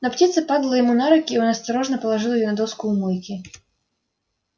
но птица падала ему на руки и он осторожно положил её на доску у мойки